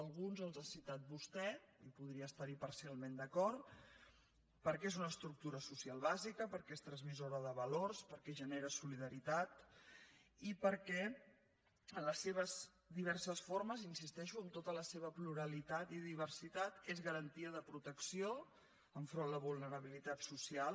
alguns els ha citat vostè i podria estar·hi parcialment d’acord perquè és una estructura social bàsica perquè és transmissora de valors perquè genera solidaritat i perquè en les seves diverses formes hi insisteixo amb tota la seva pluralitat i diversitat és garantia de pro·tecció enfront de la vulnerabilitat social